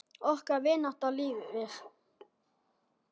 Okkar vinátta lifir.